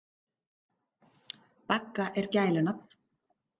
Bagga er gælunafn.